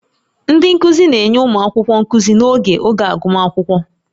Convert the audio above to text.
Ndị nkuzi na-enye ụmụ akwụkwọ nkuzi n'oge oge agụmakwụkwọ